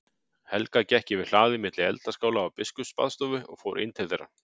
Helga gekk yfir hlaðið milli eldaskála og biskupsbaðstofu og fór inn til þeirra.